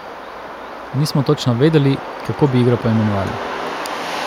Nismo točno vedeli, kako bi igro poimenovali.